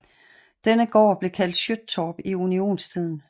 Denne gård blev kaldt Syöthorp i unionstiden